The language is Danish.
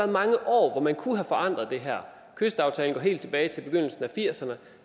mange år hvor man kunne have forandret det her kystaftalen går helt tilbage til begyndelsen af nitten firserne